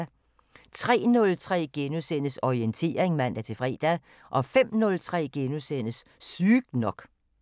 03:03: Orientering *(man-fre) 05:03: Sygt nok *